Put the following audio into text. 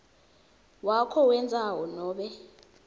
wakho wendzawo nobe